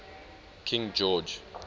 king george